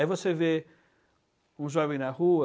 Aí você vê um jovem na rua...